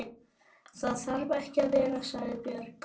Það þarf ekki að vera, sagði Björg.